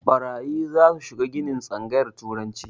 Ɓarayi zasu shiga ginin tsangayar turanci